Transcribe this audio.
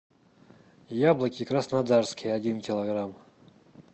яблоки краснодарские один килограмм